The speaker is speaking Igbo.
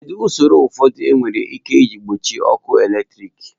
Kedu ụsọrọ ụfọdụ were ike iji gbochie ọkụ eletrik?